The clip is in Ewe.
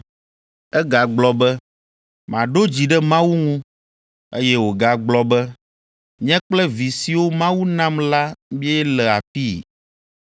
Egagblɔ be, “Maɖo dzi ɖe Mawu ŋu.” Eye wògagblɔ be, “Nye kple vi siwo Mawu nam la míele afii.”